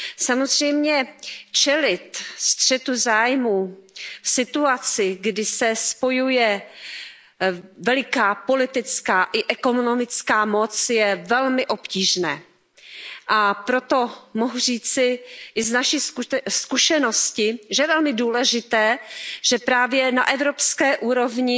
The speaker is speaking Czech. Samozřejmě čelit střetu zájmů v situaci, kdy se spojuje veliká politická i ekonomická moc, je velmi obtížné, a proto mohu říci i z naší zkušenosti, že je velmi důležité, že právě na evropské úrovni